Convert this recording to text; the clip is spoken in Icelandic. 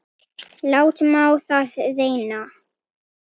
Látum á það reyna!